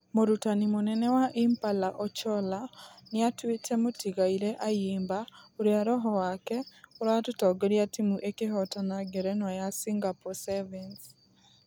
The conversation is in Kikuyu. Mũrutani mũnene wa impala ocholla nĩatuĩte mũtigaire ayimba ....ũrĩa roho wake wa ......ũratongoririe timũ ĩkĩhotana ngerenwa ya singapore sevens.